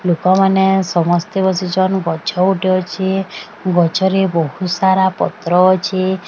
ଲୋକମାନେ ସମସ୍ତେ ଗଛ ଗୋଟେ ଅଛି ଗଛରେ ବହୁତ ସାରା ପତ୍ର ଅଛି।